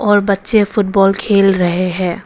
और बच्चे फुटबॉल खेल रहे है।